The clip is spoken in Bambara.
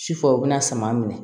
Sifa u bɛna sama minɛ